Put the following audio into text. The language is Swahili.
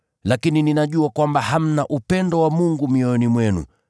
Lakini ninajua kwamba hamna upendo wa Mungu mioyoni mwenu.